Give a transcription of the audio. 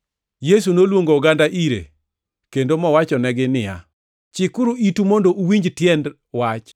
Yesu noluongo oganda ire kendo mowachonegi niya, “Chikuru itu mondo uwinj tiend wach.